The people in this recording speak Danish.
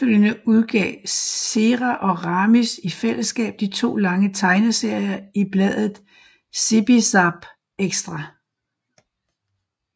Efterfølgende udgav Cera og Ramis i fællesskab to lange tegneserier i bladet Zipi Zape Extra